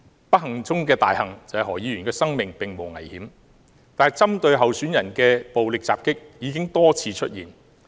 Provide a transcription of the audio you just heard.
不幸中的大幸是，何議員的生命並無危險，但針對候選人的暴力襲擊已經多次出現。